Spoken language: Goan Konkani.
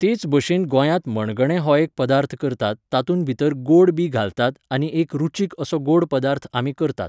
तेच भशेन गोंयांत मणगणें हो एक पदार्थ करतात तातूंत भितर गोड बी घालतात आनी एक रुचीक असो गोड पदार्थ आमी करतात